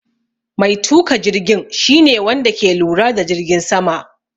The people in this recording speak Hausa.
Mai tuka jirgin shi ne Wanda ke lura da jirgin sama.